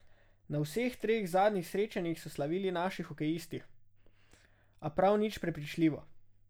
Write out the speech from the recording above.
Na vseh treh zadnjih srečanjih so slavili naši hokejisti, a prav nič prepričljivo.